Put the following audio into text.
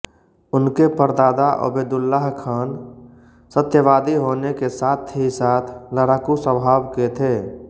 उनके परदादा आबेदुल्ला खान सत्यवादी होने के साथ ही साथ लड़ाकू स्वभाव के थे